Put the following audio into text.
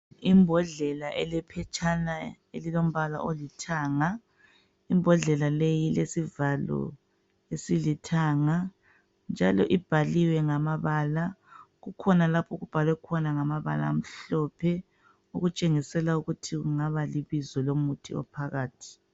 Imbodlela ele phetshana elilombala olithanga imbodlela leyi ilesivalo esilithanga njalo ibhaliwe ngamabala kukhona lapho okubhalwe khona ngamabala amhlophe okutshengisela ukuthi kungaba libizo lomuthi ophakathi